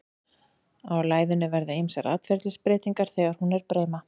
á læðunni verða ýmsar atferlisbreytingar þegar hún er breima